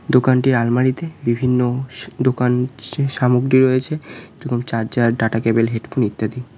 দোকানটি আলমারি -তে বিভিন্ন স্ দোকান সে সামগ্রী রয়েছে যেমন চার্জার ডাটা কেবিল হেডফোন ইত্যাদি।